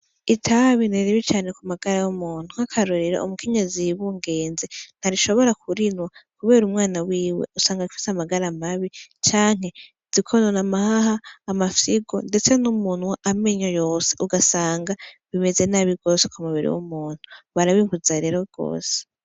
Itabi ni ribi cane kumagara y' umuntu nk'akarorero umukenyezi yibungenze ntashobora kurinwa kubera umwana wiwe usanga afise amagara mabi canke zikonona amahaha, amafyigo ndetse n' umunwa , amenyo yose ugasanga bimeze nabi gose kumubiri w'umuntu barabibuza rero gose.